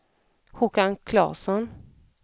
Håkan Klasson